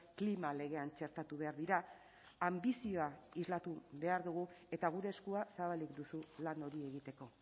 klima legean txertatu behar dira anbizioa islatu behar dugu eta gure eskua zabalik duzu lan hori egiteko